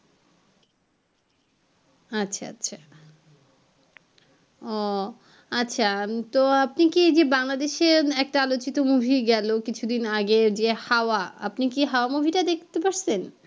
আচ্ছা আচ্ছা ও আচ্ছা তো আপনি কি এই যে বাংলাদেশ এর একটা আলোচ্চিত মুভি গেলো কিছুদিন আগে যে হাওয়া আপনি কি হাওয়া মুভি টা দেখতে পাচ্ছেন